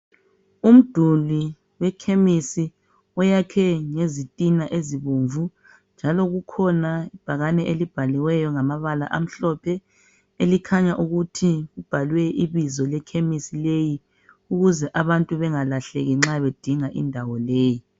Umduli wekhemisi uyakhwe ngezitina ezibomvu njalo kukhona ibhakane elibhaliweyo ngamabala amhlophe elikhanya ukuthi libhalwe ibizo lekhemisi leyi ukuze abantu bengalahleki nxa bedinga indawo leyi.